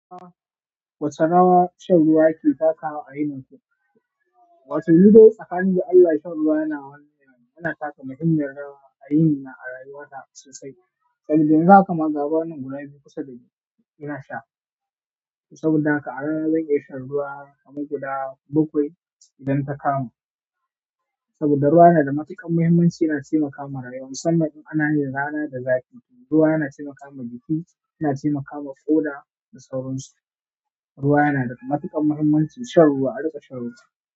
Ah wace rawa shan ruwa ke takawa a yini ku? Wato ni dai tsakanin da Allah shan ruwa yana taka muhimmiyar rawa a yini na a rayuwa ta sosai. Saboda yanzu haka ma ga ruwa nan guda biyu kusa da ni, ina sha. Saboda haka a rana zan iya shan ruwa kamar guda bakwai idan ta kama saboda ruwa yanada matuƙar mahimmaci yana taimakawa rayuwa musamman in anayin rana da zafi, ruwa yana taimakawa jiki, yana taimakawa ƙoda da sauran su. Ruwa yana da matuƙar muhimmanci, shan ruwa, a riƙa shan ruwa.